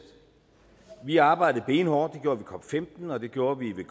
vi har arbejdet benhårdt det gjorde vi ved cop15 og det gjorde vi ved